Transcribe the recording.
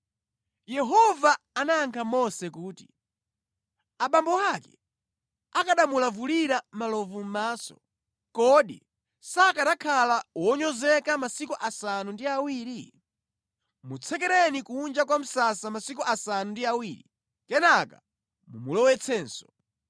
Yehova anayankha Mose kuti, “Abambo ake akanamulavulira malovu mʼmaso, kodi sakanakhala wonyozeka masiku asanu ndi awiri? Mutsekereni kunja kwa msasa masiku asanu ndi awiri, kenaka mumulowetsenso.”